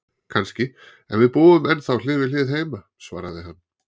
Kannski, en við búum ennþá hlið við hlið heima, svaraði hann.